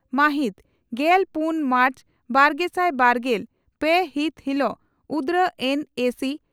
ᱢᱟᱦᱤᱛ ᱜᱮᱞ ᱯᱩᱱ ᱢᱟᱨᱪ ᱵᱟᱨᱜᱮᱥᱟᱭ ᱵᱟᱨᱜᱮᱞ ᱯᱮ ᱦᱤᱛ ᱦᱤᱞᱚᱜ ᱩᱫᱽᱲᱟ ᱮᱱᱹᱮᱹᱥᱤᱹ